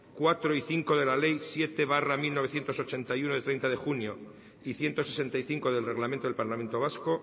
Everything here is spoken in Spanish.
cuatro y cinco de la ley siete barra mil novecientos ochenta y uno de treinta de junio y ciento sesenta y cinco del reglamento del parlamento vasco